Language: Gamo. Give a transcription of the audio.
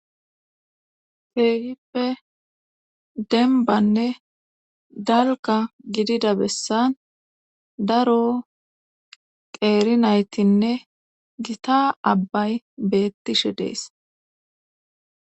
Keegippe denbanne dalka gidida bessan daro qeerinaytinne gita abbay beettishe dees.